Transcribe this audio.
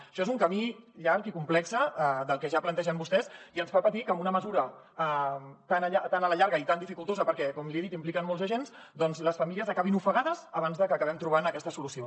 això és un camí llarg i complex el que ja plantegen vostès i ens fa patir que amb una mesura tan a la llarga i tan dificultosa perquè com li he dit impliquen molts agents doncs les famílies acabin ofegades abans de que acabem trobant aquesta solució